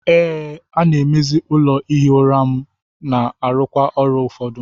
Ee, a-na emezi ụlọ ihi ụra m na-arụkwa ọrụ ụfọdụ.